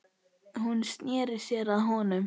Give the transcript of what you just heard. Hún sneri sér að honum.